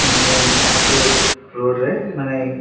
ମାନେ ଚାରକୋର୍‌ ରୋଡ୍‌ ରେ ମାନେ--